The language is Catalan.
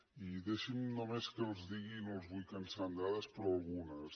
i deixin me només que els digui no els vull cansar amb dades però algunes